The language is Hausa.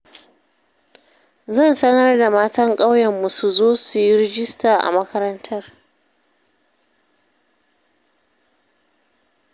Zan sanar da matan ƙauyenmu su zo su yi rajista a makarantar